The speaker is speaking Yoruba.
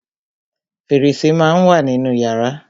Fẹ̀rẹsẹ́ má á ń wà nínú yàrá.